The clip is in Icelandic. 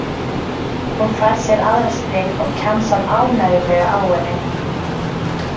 Hún fær sér aðra sneið og kjamsar ánægjulega á henni.